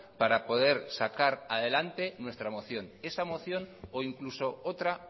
para poder sacar adelante nuestra moción esa moción o incluso otra